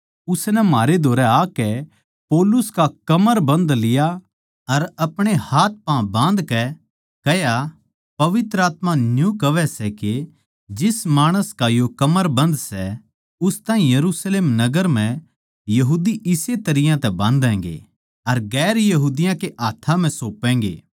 उसनै म्हारै धोरै आकै पौलुस का कमरबन्ध लिया अर अपणे हाथपाँ बाँधकै कह्या पवित्र आत्मा न्यू कहवै सै के जिस माणस का यो कमरबन्ध सै उस ताहीं यरुशलेम नगर म्ह यहूदी इस्से तरियां तै बाँधैगें अर दुसरी जात्तां कै हाथ्थां म्ह सौंपैगें